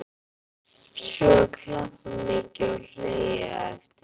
Svo er klappað mikið og hlegið á eftir.